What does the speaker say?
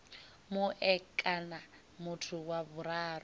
mue kana muthu wa vhuraru